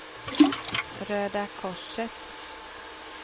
Röda Korset